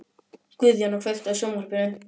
Guðjóna, kveiktu á sjónvarpinu.